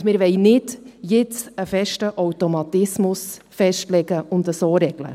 Und wir wollen nicht jetzt einen fixen Automatismus festlegen und so regeln.